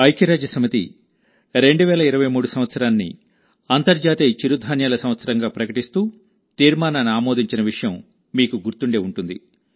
ఐక్యరాజ్యసమితి 2023 సంవత్సరాన్ని అంతర్జాతీయ చిరుధాన్యాల సంవత్సరంగా ప్రకటిస్తూ తీర్మానాన్ని ఆమోదించిన విషయం మీకు గుర్తుండే ఉంటుంది